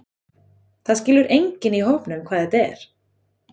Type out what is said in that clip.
Það skilur enginn í hópnum hvað þetta er.